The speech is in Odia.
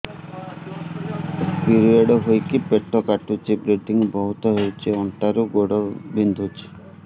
ପିରିଅଡ଼ ହୋଇକି ପେଟ କାଟୁଛି ବ୍ଲିଡ଼ିଙ୍ଗ ବହୁତ ହଉଚି ଅଣ୍ଟା ରୁ ଗୋଡ ବିନ୍ଧୁଛି